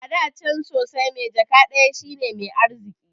Ada can sosai, mai jaka ɗaya shine mai arziki